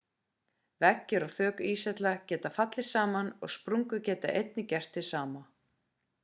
veggir og þök íshella geta fallið saman og sprungur geta einnig gert hið sama